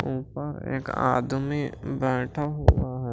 ऊपर एक आदमी बैठा हुआ --